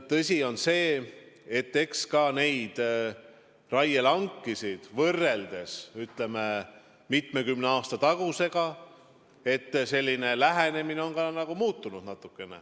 Tõsi on ka see, et kui raielanke võrrelda mitmekümne aasta taguse ajaga, siis on lähenemine natukene muutunud.